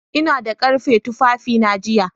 Ina da ƙarfe tufafina jiya